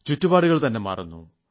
ചുറ്റുപാടു തന്നെ മാറുന്നു